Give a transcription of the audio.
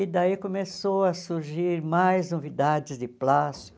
E daí começou a surgir mais novidades de plástico.